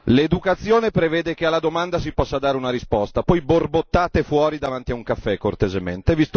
L'educazione prevede che a una domanda si possa dare una risposta, poi borbottate fuori davanti a un caffè cortesemente.